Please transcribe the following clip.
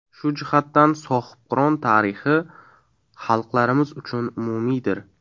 Shu jihatdan, Sohibqiron tarixi xalqlarimiz uchun umumiydir”.